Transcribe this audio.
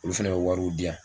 Olu fana ye wariw diyan.